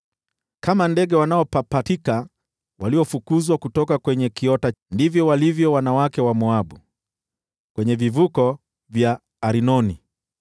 Kama ndege wanaopapatika waliofukuzwa kutoka kwenye kiota, ndivyo walivyo wanawake wa Moabu kwenye vivuko vya Arnoni.